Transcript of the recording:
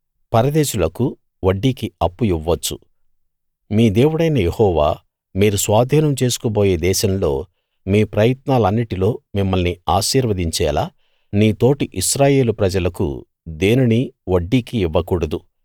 పరదేశులకు వడ్డీకి అప్పు ఇవ్వవచ్చు మీ దేవుడైన యెహోవా మీరు స్వాధీనం చేసుకోబోయే దేశంలో మీ ప్రయత్నాలన్నిటిలో మిమ్మల్ని ఆశీర్వదించేలా నీ తోటి ఇశ్రాయేలు ప్రజలకు దేనినీ వడ్డీకి ఇవ్వకూడదు